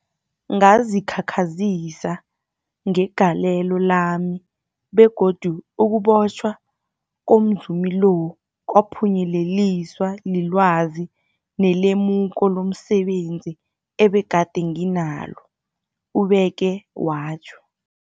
Ngazikhakhazisa ngegalelo lami, begodu ukubotjhwa komzumi lo kwaphunyeleliswa lilwazi nelemuko lomse benzi ebegade nginalo, ubeke watjho.